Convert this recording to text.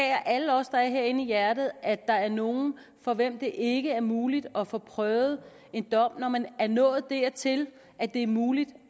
alle os der er herinde i hjertet at der er nogle for hvem det ikke er muligt at få prøvet en sag når man er nået dertil at det er muligt